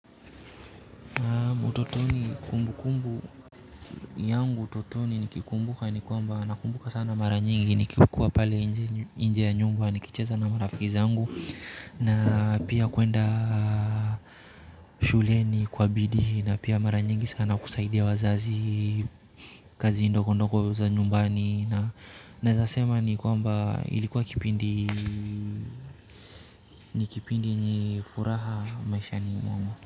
Utotoni kumbukumbu yangu utotoni nikikumbuka ni kwamba nakumbuka ni kwamba nakumbuka sana mara nyingi nikikua pale nje ya nyumba nikicheza na marafiki zangu na pia kwenda shuleni kwa bidiina pia mara nyingi sana kusaidia wazazi kazi ndogo ndogo za nyumbani na naweza sema ni kwamba ilikuwa kipindi ni kipindi ni furaha maishani mwangu.